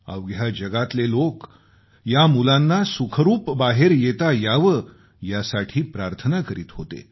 अवघ्या जगातले लोक या मुलांना सुखरूप बाहेर येता यावं यासाठी प्रार्थना करीत होते